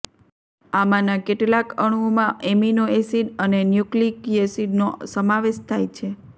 આમાંના કેટલાક અણુઓમાં એમિનો એસિડ અને ન્યુક્લિયક એસિડનો સમાવેશ થાય છે